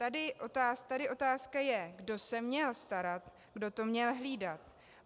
Tady otázka je, kdo se měl starat, kdo to měl hlídat.